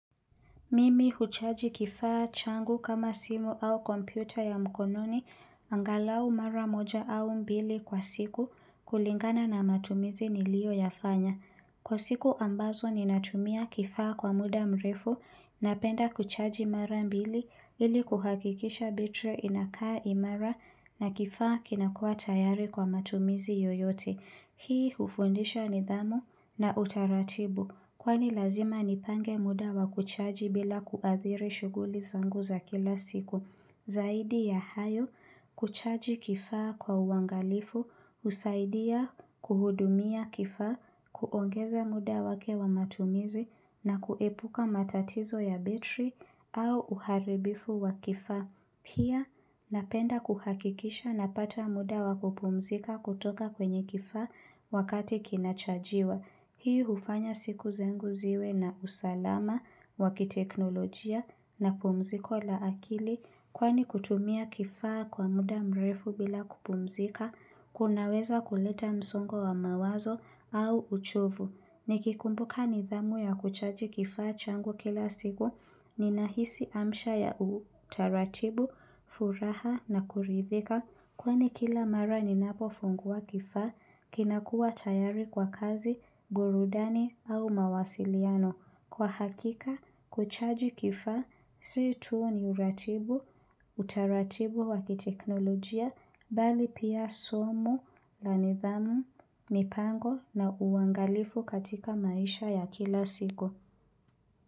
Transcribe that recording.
Mimi huchaji kifaa changu kama simu au kompyuta ya mkononi angalau mara moja au mbili kwa siku kulingana na matumizi nilioyafanya. Kwa siku ambazo ninatumia kifaa kwa muda mrefu napenda kuchaji mara mbili ili kuhakikisha betri inakaa imara na kifaa kinakua tayari kwa matumizi yoyote. Hii hufundisha nidhamu na utaratibu kwani lazima nipange muda wa kuchaji bila kuadhiri shuguli zangu za kila siku. Zaidi ya hayo kuchaji kifaa kwa uangalifu, husaidia kuhudumia kifaa, kuongeza muda wake wa matumizi na kuepuka matatizo ya betri au uharibifu wa kifaa. Pia napenda kuhakikisha napata muda wa kupumzika kutoka kwenye kifaa wakati kinachajiwa. Hii hufanya siku zengu ziwe na usalama, wakiteknolojia na pumziko la akili kwani kutumia kifaa kwa muda mrefu bila kupumzika, kunaweza kuleta msongo wa mawazo au uchovu. Nikikumbuka nidhamu ya kuchaji kifaa changu kila siku ninahisi amsha ya utaratibu, furaha na kuridhika Kwani kila mara ninapofungua kifaa kinakua tayari kwa kazi, burudani au mawasiliano Kwa hakika, kuchaji kifaa, si tu ni uratibu, utaratibu wa kiteknolojia, bali pia somu, la nidhamu, mipango na uangalifu katika maisha ya kila siku.